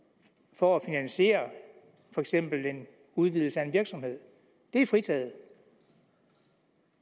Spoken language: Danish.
for at finansiere for eksempel en udvidelse af en virksomhed er fritaget